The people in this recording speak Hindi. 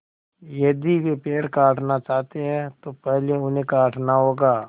यदि वे पेड़ काटना चाहते हैं तो पहले उन्हें काटना होगा